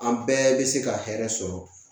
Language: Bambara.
An bɛɛ bɛ se ka hɛrɛ sɔrɔ